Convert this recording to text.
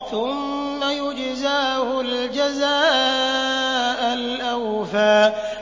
ثُمَّ يُجْزَاهُ الْجَزَاءَ الْأَوْفَىٰ